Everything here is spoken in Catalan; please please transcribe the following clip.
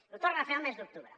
ho torna a fer al mes d’octubre